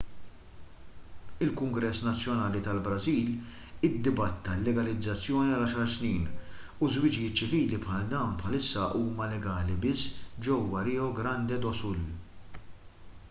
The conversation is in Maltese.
il-kungress nazzjonali tal-brażil iddibatta l-legalizzazzjoni għal 10 snin u żwiġijiet ċivili bħal dawn bħalissa huma legali biss ġewwa rio grande do sul